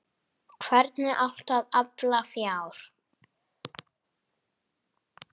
Hvernig átti að afla fjár?